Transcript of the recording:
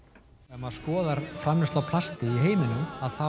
ef maður skoðar famleiðslu á plasti í heiminum þá